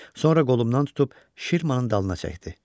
Sonra qolumdan tutub Şirmanın dalına çəkdi.